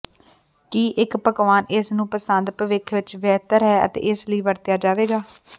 ਕੀ ਇੱਕ ਪਕਵਾਨ ਇਸ ਨੂੰ ਪਸੰਦ ਭਵਿੱਖ ਵਿੱਚ ਬਿਹਤਰ ਹੈ ਅਤੇ ਇਸ ਲਈ ਵਰਤਿਆ ਜਾਵੇਗਾ